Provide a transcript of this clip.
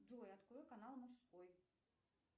джой открой канал мужской